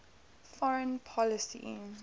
foreign policy